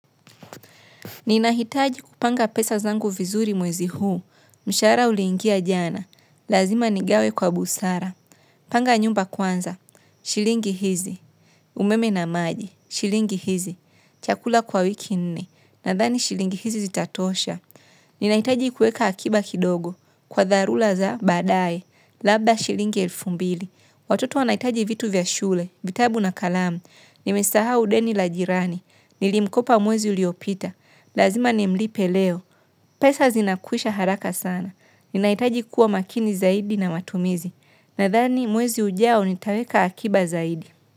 Ninahitaji kupanga pesa zangu vizuri mwezi huu, msharaha uliingia jana, lazima nigawe kwa busara, panga nyumba kwanza, shilingi hizi, umeme na maji, shilingi hizi, chakula kwa wiki nne, nadhani shilingi hizi zitatosha. Ninahitaji kueka akiba kidogo, kwa dharura za baadae, labda shilingi elfu mbili, watoto wanahitaji vitu vya shule, vitabu na kalamu, nimesahau deni la jirani, nilimkopa mwezi uliopita, lazima nimlipe leo, pesa zinakwisha haraka sana, ninahitaji kuwa makini zaidi na matumizi, nadhani mwezi ujao nitaweka akiba zaidi.